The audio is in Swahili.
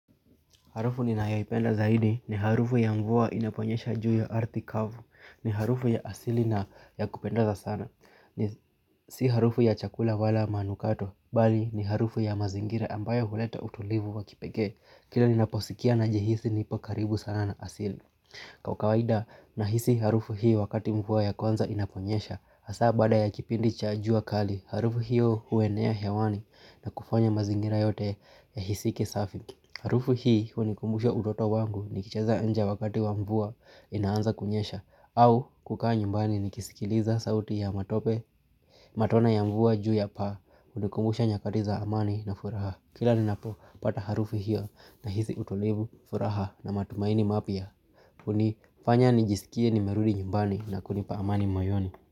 Harufu ninayoipenda zaidi ni harufu ya mvua inaponyesha juu ya ardhi kavu, ni harufu ya asili na ya kupendeza sana. Si harufu ya chakula wala manukato, bali ni harufu ya mazingira ambayo huleta utulivu wa kipekee. Kila ninaposikia najihisi nipo karibu sana na asili. Kwa ukawaida, nahisi harufu hii wakati mvua ya kwanza inaponyesha. Hasa baada ya kipindi cha jua kali, harufu hiyo huenea hewani na kufanya mazingira yote yahisike safi. Harufu hii hunikumbusha utoto wangu nikicheza nje wakati wa mvua inaanza kunyesha au kukaa nyumbani nikisikiliza sauti ya matope. Matone ya mvua juu ya paa hunikumbusha nyakati za amani na furaha kila ninapo pata harufu hiyo nahisi utulivu furaha na matumaini mapya. Hunifanya nijisikie nimerudi nyumbani na kunipa amani moyoni.